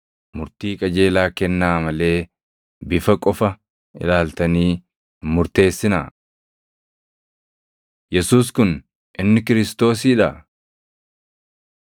Murtii qajeelaa kennaa malee, bifa qofa ilaaltanii hin murteessinaa.” Yesuus Kun inni Kiristoosii dha?